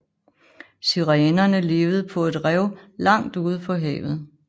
Sirenerne levede på et rev langt ude på havet